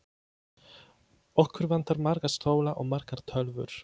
Okkur vantar marga stóla og margar tölvur.